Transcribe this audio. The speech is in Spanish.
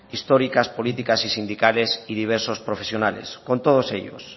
históricas políticas y sindicales y diversos profesionales con todos ellos